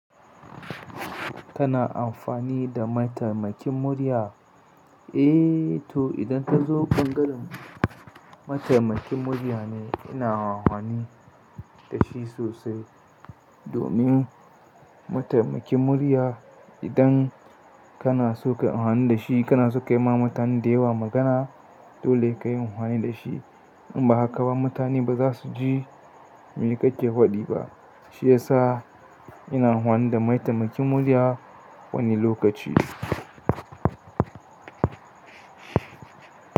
Kana amfani da mataimakin murya? Eh, to idan ta zo bangalen mataimakin murya ne ina awwani da shi sosai. Domin mataimakin murya idan kanaso kayi amfani dashi kanaso kayima mutane dayawa magana dole sai kayi amfani dashi. In ba haka ba mutane ba za su ji me kake faɗi ba. Shi ya sa ina wahani da mataimakin murya wani lokaci.